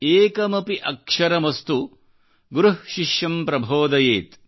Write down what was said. ಏಕಮಪಿ ಅಕ್ಷರಮಸ್ತು ಗುರುಃ ಶಿಷ್ಯಂ ಪ್ರಭೋದಯೇತ್